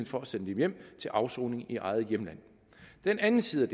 for at sende dem hjem til afsoning i eget hjemland den anden side